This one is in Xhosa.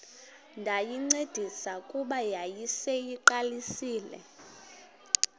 ndayincedisa kuba yayiseyiqalisile